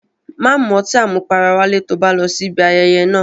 Má mu ọtí àmupara wálé to bá lọ síbi ayẹyẹ náà.